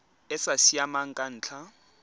e sa siamang ka ntlha